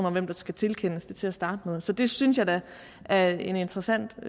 om hvem der skal tilkendes det til at starte med så det synes jeg da er en interessant